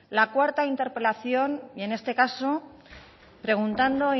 la cuarta interpelación y en este caso preguntando